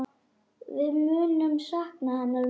Við munum sakna hennar mikið.